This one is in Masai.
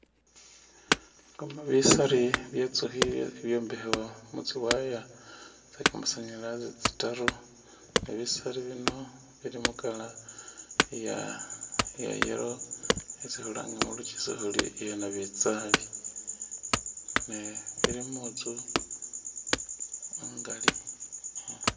Bisari bye tsukhi ibyombekhewa mu tsi wire tse kamasanyalazi tsitaru ne bisari bino bili mu color iya yellow yesi khulanga mulukyisu khuri iya nabitsali ne ili mutsu ingali.